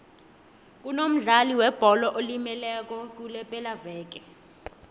kunomdlali webholo olimeleko kulepelaveke